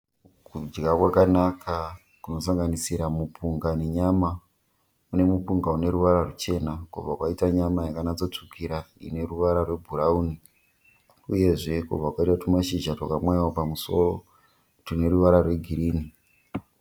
Kudya keakanaka kunosanganisira mipunga nenyama. Mune mupunga neruvara rwuchena kubva kwaita nyama yakanyatsorsvukira ineruvara rwebhuraun, uyezve kubva kwaita tumashizha twakamwaiwa pamusoro tineruvara rwegirinhi